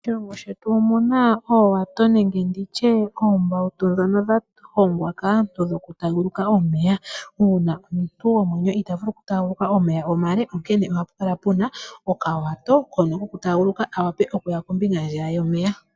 Moshilongo shetu omuna oowato nenge oombautu ndhono dha hongwa kaantu dhoku taaguluka omeya . Uuna omuntu gomwenyo itaa vulu oku taaguluka omeya omale onkene opuna okawato hono koku taagulaka kawape okuya kombinga ndjiya yomeya.